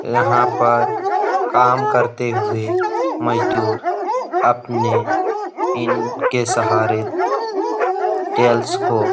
यहाँ पर काम करते हुए मजदूर अपने इनके सहारे टाइल्स को --